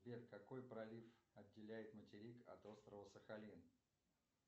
сбер какой пролив отделяет материк от острова сахалин